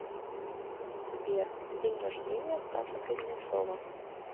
сбер день рождения стаса кузнецова